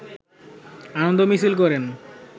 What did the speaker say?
আনন্দ মিছিল করেন